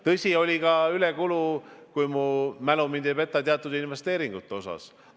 Tõsi, oli ka ülekulu, kui mu mälu mind ei peta, teatud investeeringute puhul.